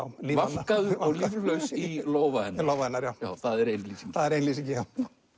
lífvana vankaður og líflaus í lófa hennar lófa hennar það er ein lýsingin það er ein lýsingin já